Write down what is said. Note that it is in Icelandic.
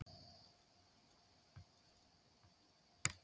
Hjörtur Hjartarson: Ætlarðu ekki að kjósa Halldór hérna?